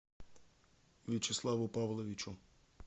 вячеславу павловичу